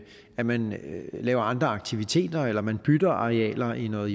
at man laver andre aktiviteter eller at man bytter arealer i noget